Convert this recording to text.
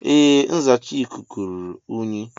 Ee nzacha ikuku ruru unyi.